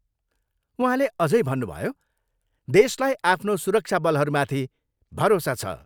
उहाँले अझै भन्नुभयो, देशलाई आफ्नो सुरक्षाबलहरूमाथि भरोसा छ।